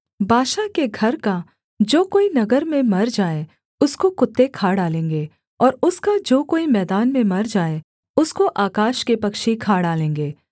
बाशा के घर का जो कोई नगर में मर जाए उसको कुत्ते खा डालेंगे और उसका जो कोई मैदान में मर जाए उसको आकाश के पक्षी खा डालेंगे